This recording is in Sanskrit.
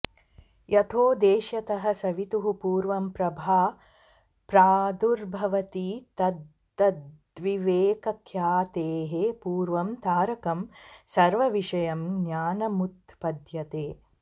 यथोदेष्यतः सवितुः पूर्वं प्रभा प्रादुर्भवति तद्वद्विवेकख्यातेः पूर्वं तारकं सर्वविषयं ज्ञानमुत्पद्यते